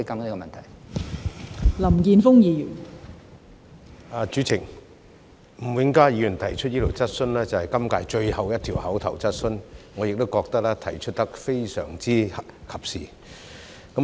代理主席，吳永嘉議員提出的這項質詢是今屆最後一項口頭質詢，我亦認為提得非常及時。